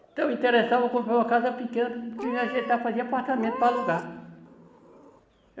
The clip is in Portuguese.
Então, me interessava comprar uma casa pequena para ajeitar fazer apartamento para alugar.